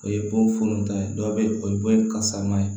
O ye bon funuta ye dɔw bɛ ye o ye bon kasa ye